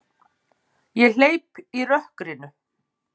Ég hleyp í rökkrinu.